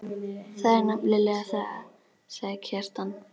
Það er nefnilega það, sagði Kjartan.